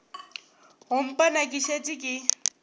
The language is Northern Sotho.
go mpona ke šetše ke